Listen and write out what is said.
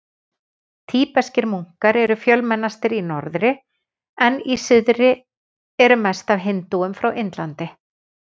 Tíbeskir munkar eru fjölmennastir í norðri en í suðri eru mest af hindúum frá Indlandi.